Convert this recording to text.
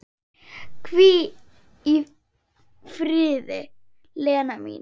Hvíl í friði, Lella mín.